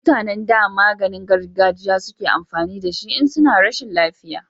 mutanen da maganin gargajiya suke amfani da shi in suna rashin lafiya